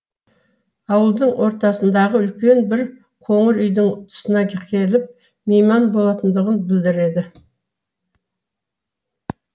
ауылдың ортасындағы үлкен бір коңыр үйдің тұсына келіп мейман болатындығын білдіреді